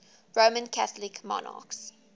roman catholic monarchs